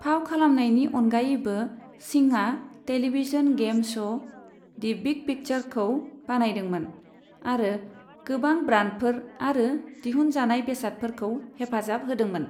फाव खालामनायनि अनगायैबो, सिंहआ television game show, the big पिक्चारखौ बानजायदोंमोन, आरो गोबां ब्रान्डफोर आरो दिहुनजानाय बेसादफोरखौ हेफाजाब होदोंमोन।